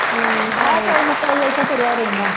ਮੈ ਕਿਹਾ ਕੋਈ ਨਾ ਕੋਈ ਇੱਥੇ ਤੁਰਿਆ ਰਹਿੰਦਾ।